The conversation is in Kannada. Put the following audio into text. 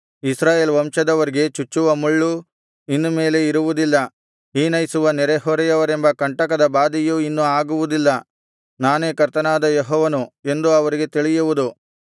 ಇಸ್ರಾಯೇಲ್ ವಂಶದವರಿಗೆ ಚುಚ್ಚುವ ಮುಳ್ಳು ಇನ್ನು ಮೇಲೆ ಇರುವುದಿಲ್ಲ ಹೀನೈಸುವ ನೆರೆಹೊರೆಯವರೆಂಬ ಕಂಟಕದ ಬಾಧೆಯು ಇನ್ನು ಆಗುವುದಿಲ್ಲ ನಾನೇ ಕರ್ತನಾದ ಯೆಹೋವನು ಎಂದು ಅವರಿಗೆ ತಿಳಿಯುವುದು